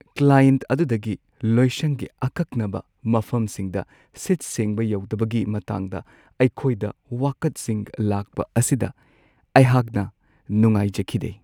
Client ꯑꯗꯨꯗꯒꯤ ꯂꯣꯏꯁꯪꯒꯤ ꯑꯀꯛꯅꯕ ꯃꯐꯝꯁꯤꯡꯗ ꯁꯤꯠ-ꯁꯦꯡꯕ ꯌꯧꯗꯕꯒꯤ ꯃꯇꯥꯡꯗ ꯑꯩꯈꯣꯏꯗ ꯋꯥꯀꯠꯁꯤꯡ ꯂꯥꯛꯄ ꯑꯁꯤꯗ ꯑꯩꯍꯥꯛꯅ ꯅꯨꯡꯉꯥꯏꯖꯈꯤꯗꯦ ꯫